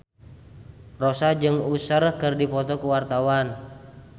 Rossa jeung Usher keur dipoto ku wartawan